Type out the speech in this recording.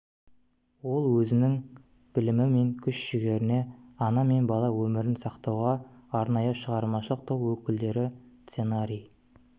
ол өзінің білімі мен күш-жігерін ана мен бала өмірін сақтауға арнайды шығармашылық топ өкілдері сценарий